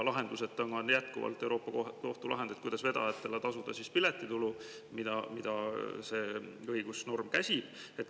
Lahenduseta on jätkuvalt Euroopa Kohtu lahendist, kuidas vedajatele tasuda piletitulu, kuna õigusnorm seda käsib.